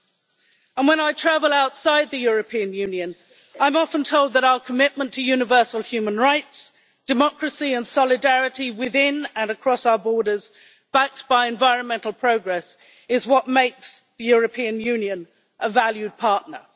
And when I travel outside the European Union, I am often told that our commitment to universal human rights, democracy and solidarity within and across our borders, backed by environmental progress, is what makes the European Union a valued partner.